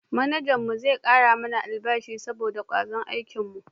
Manajan mu zai kara mana albashi saboda kwazon aikin mu